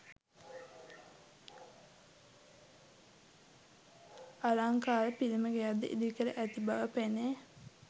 අලංකාර පිළිම ගෙයක් ද ඉදිකර ඇති බව පෙනේ.